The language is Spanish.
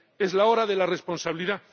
Es la hora de la responsabilidad